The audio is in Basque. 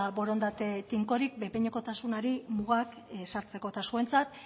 borondate tinkorik behin behinekotasunari mugak ezartzeko eta zuentzat